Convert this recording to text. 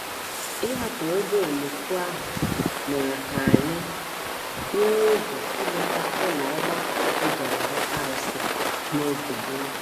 Ịhapụ ụgbọ oloko ahụ mere ka anyị nwee oge ileta ụlọ ogbako e ji arụ arụsị n’oge gboo.